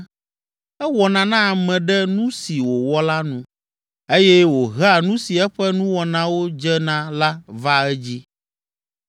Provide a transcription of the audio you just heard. Ewɔna na ame ɖe nu si wòwɔ la nu eye wòhea nu si eƒe nuwɔnawo dze na la vaa edzii.